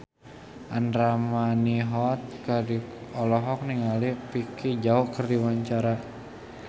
Andra Manihot olohok ningali Vicki Zao keur diwawancara